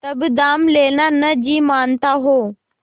तब दाम लेना न जी मानता हो